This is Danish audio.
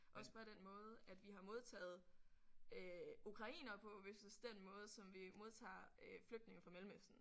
Også bare den måde at vi har modtaget øh ukrainere på versus den måde som vi modtager øh flygtninge fra Mellemøsten